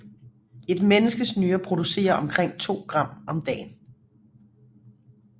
Et menneskes nyre producerer omkring to gram om dagen